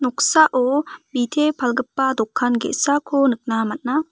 noksao bite palgipa dokan ge·sako nikna man·a.